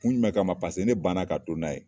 Kun jumɛn ka ma? Paseke ne ban na ka don n'a ye.